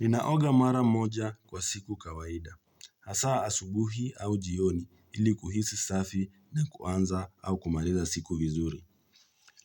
Ninaoga mara moja kwa siku kawaida. Hasaa asubuhi au jioni ili kuhisi safi na kuanza au kumaliza siku vizuri.